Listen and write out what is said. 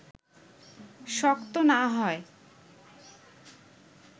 শক্ত না হয়